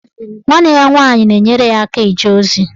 Nwanne ya nwaanyị na-enyere ya aka eje ozi.